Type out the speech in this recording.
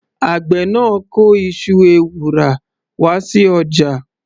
Àgbẹ̀ náà kó iṣu ewùrà wá sí ọjà.